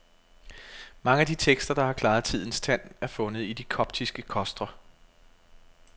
Mange af de tekster, der har klaret tidens tand er fundet i de koptiske kostre.